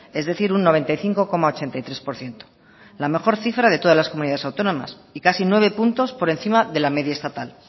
es decir un noventa y cinco coma ochenta y tres por ciento la mejor cifra de todas las comunidades autónomas y casi nueve puntos por encima de la media estatal